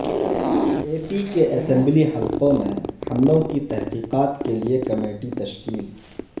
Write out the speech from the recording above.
اے P کے assembly حلقوں میں حملوں کی تحقیقات کیلئے کمیٹی تشکیل